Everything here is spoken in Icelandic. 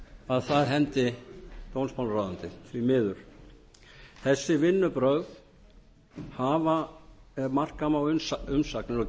að það hendi dómsmálaráðuneytið því miður þessi vinnubrögð ef marka má umsagnir og